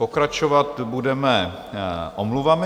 Pokračovat budeme omluvami.